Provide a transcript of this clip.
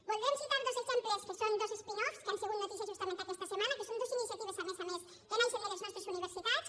voldrem citar dos exemples que són dos spin off que han sigut notícia justament aquesta setmana que són dues iniciatives a més a més que naixen de les nostres universitats